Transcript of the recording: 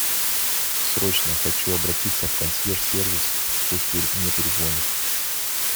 срочно хочу обратиться в консьерж сервис пусть мне перезвонят